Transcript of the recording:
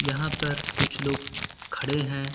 यहां पर कुछ लोग खड़े है।